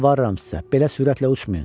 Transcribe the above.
Yalvarıram sizə, belə sürətlə uçmayın.